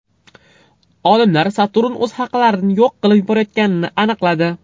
Olimlar Saturn o‘z halqalarini yo‘q qilib yuborayotganini aniqladi.